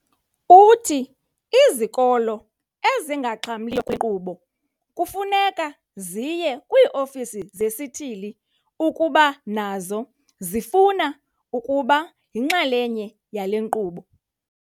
Uthi izikolo ezingaxhamliyo kule nkqubo kufuneka ziye kwii-ofisi zesithili ukuba nazo zifuna ukuba yinxalenye yale nkqubo.